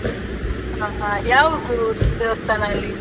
ಹಾ ಹಾ, ಯಾವುದು ದೇವಸ್ಥಾನ ಅಲ್ಲಿ?